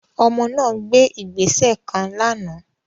Ọmọ náà gbé ìgbésẹ kàn lànà